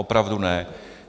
Opravdu ne.